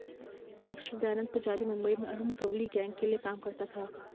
gangster Dayanand Pujari Mumbai में Arun Gawli gang के लिए काम करता था